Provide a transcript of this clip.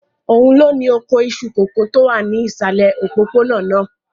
Òun ló ni oko iṣu kòkó tó wà ní ìsàlẹ̀ òpópónà náà?